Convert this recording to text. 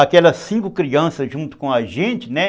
Aquelas cinco crianças junto com a gente, né?